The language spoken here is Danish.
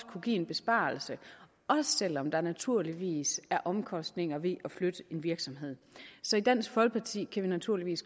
kunne give en besparelse også selv om der naturligvis er omkostninger ved at flytte en virksomhed så i dansk folkeparti kan vi naturligvis